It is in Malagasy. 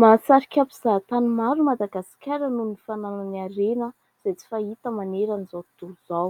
Mahasarika mpizahatany maro i Madagasikara noho ny fananany harena izay tsy fahita manerana izao tontolo izao.